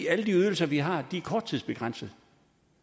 alle de ydelser vi har er begrænset